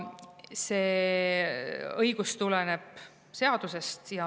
See õigus tuleneb seadusest.